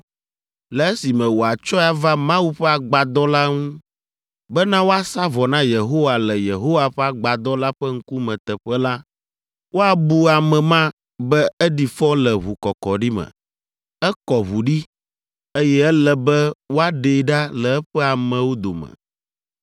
le esime wòatsɔe ava Mawu ƒe Agbadɔ la nu bena woasa vɔ na Yehowa le Yehowa ƒe Agbadɔ la ƒe ŋkume teƒe la, woabu ame ma be eɖi fɔ le ʋukɔkɔɖi me. Ekɔ ʋu ɖi, eye ele be woaɖee ɖa le eƒe amewo dome.